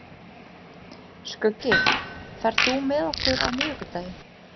Skuggi, ferð þú með okkur á miðvikudaginn?